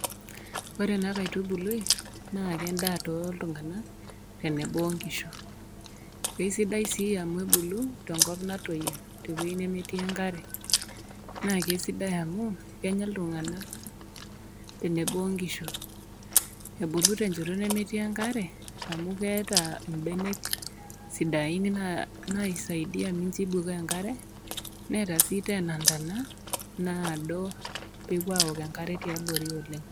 Ore ena kaitubului naa, naa endaa toltung'ana, tenebo o nkishu, aisidai sii amu ebulu tenkop natoiyo te wueji nemetii enkare, naake sidai amu kenya iltung'ana, tenebo o nkishu, ebulu tenchoto nemetii enkare amu eata imbenek sidain naisaidia mincho eibukoo enkare, neeta sii tena intana naado pewuo aok enkare tiabori oleng'.